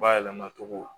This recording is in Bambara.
Bayɛlɛmacogo